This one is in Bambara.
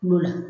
Kulo la